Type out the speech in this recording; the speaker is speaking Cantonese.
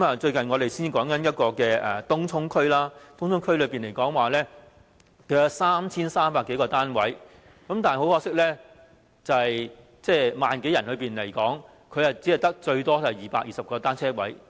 最近我們談及東涌區，區內有 3,300 多個單位，但很可惜 ，1 萬多名居民，最多只有220個單車泊位。